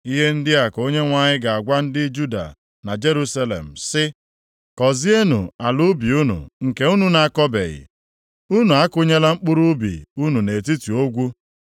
Ihe ndị a ka Onyenwe anyị na-agwa ndị Juda na Jerusalem sị, “Kọzeenụ ala ubi unu nke unu na-akọbeghị; unu akụnyela mkpụrụ ubi unu nʼetiti ogwu.